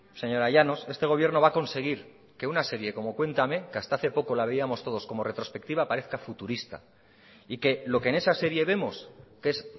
señora llanos este gobierno va a conseguir que una serie como cuéntame que hasta hace poco la veíamos todos como retrospectiva parezca futurista y que lo que en esa serie vemos que es